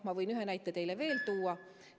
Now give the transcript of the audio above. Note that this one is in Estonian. Ma võin ühe näite teile veel tuua.